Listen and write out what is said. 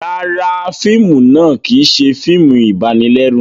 Ràrá, fíìmù náà kìí ṣe fíìmù ibanilẹru